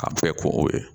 A bɛɛ kun o ye